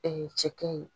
cɛkɛ ye